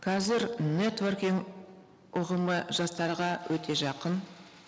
қазір нетворкинг ұғымы жастарға өте жақын